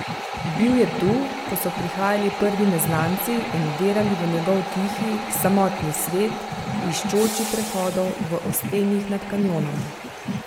Bil je tu, ko so prihajali prvi neznanci in vdirali v njegov tihi, samotni svet, iščoči prehodov v ostenjih nad kanjonom.